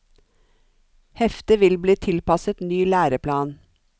Heftet vil bli tilpasset ny læreplan.